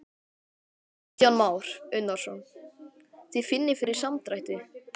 Kristján Már Unnarsson: Þið finnið fyrir samdrætti?